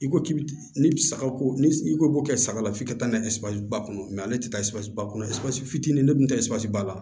I ko k'i bi ni saga ko ni i ko b'o kɛ saga la f'i ka taa n'a ye ba kɔnɔ ale tɛ taa ba kɔnɔ fitinin de dun tɛ sasiba la